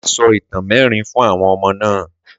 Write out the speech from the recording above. Mà á sọ ìtàn mẹ́rin fún àwọn ọmọ náà.